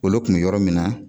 Olu tun bɛ yɔrɔ min na